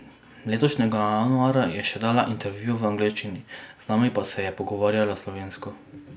Letošnjega januarja je še dala intervju v angleščini, z nami pa se je pogovarjala slovensko.